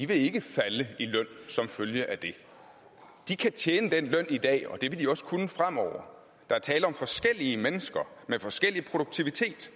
vil ikke falde i løn som følge af det de kan tjene den løn i dag og det vil de også kunne fremover der er tale om forskellige mennesker med forskellig produktivitet